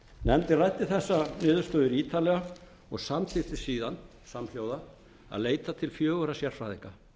nefndin ræddi þessar niðurstöður ítarlega og samþykkti síðan samhljóða að leita til fjögurra sérfræðinga